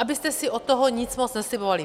- Abyste si od toho nic moc neslibovali.